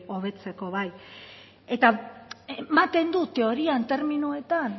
hobetzeko bai eta ematen du teorian terminoetan